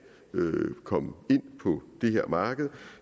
komme ind på det her marked